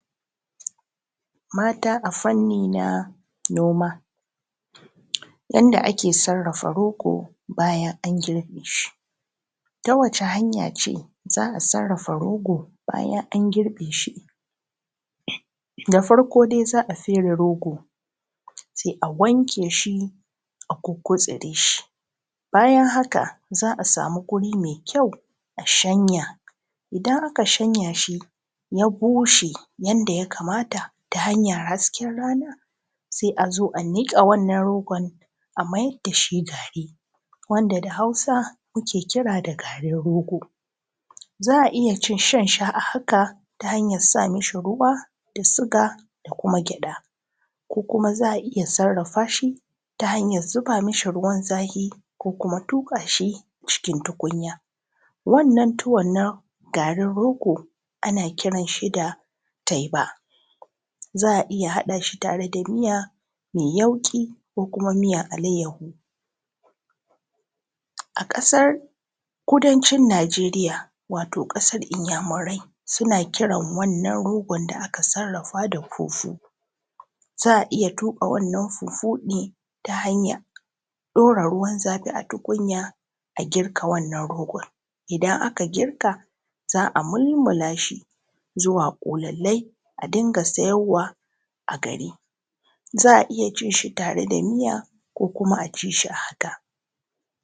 Mata a fanni na noma, Yadda ake sarrafa rogo, Bayan an nome shi ta wacce hanya za a sarrafa rogo bayan an girbe shi, Da farko dai za a fere rogo sai a wanke shi a goge shi, Bayan haka za a samu wuri mai kyau a shanya, Idan aka shanya shi ya bushe yadda ya kamata ta hanyar hasken rana, Sai a zo a niƙe wannan rogo a maida shi gari, wanda da Hausa muke kira da garin rogo, Za a iya shan shi a haka ta hanyar sa ma shi ruwa da siga da kuma gyaɗa, Ko kuma za a iya sarrafa shi ta hanyar zuba ma shi ruwan zafi ko kuma tuƙa shi cikin tukunya, Wannan tuwo na garin rogo ana kiran shi da teba, Za a iya haɗa shi tare da miya mai yauƙi ko kuma miyar alayyahu, A ƙasar kudancin Nigeriya wato ƙasar Inyamurai suna kiran wannan rogon da aka sarrafa da fufu, Za a iya tuƙa wannan fufu ne ta hanyar ɗora ruwan zafi a tukunya a girka wannan rogo, Idan aka girka za a mulmula shi zuwa ƙulli-ƙulli a dunga siyarwa a gari, Za a iya cin shi da miya ko kuma a ci shi a haka.